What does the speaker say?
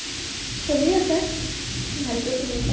চলি আছে ভালকে চলি আছে ।